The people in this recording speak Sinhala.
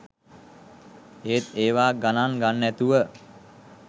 ඒත් ඒව ගණන් ගන්නැතුව